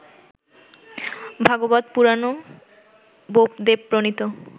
Bhagavata Purana বোপদেবপ্রণীত